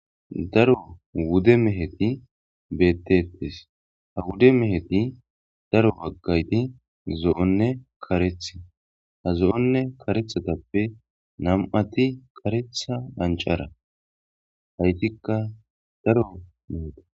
Daro wude meheti bettettes ha wude meheti daro baggayti zo'onne karethi ha zo'nne karethatappe nam]'ati karetha dhancara haytikka daro meheta.